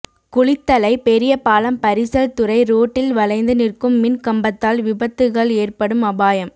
குளித்தலை பெரிய பாலம் பரிசல் துறை ரோட்டில் வளைந்து நிற்கும் மின் கம்பத்தால் விபத்துகள் ஏற்படும் அபாயம்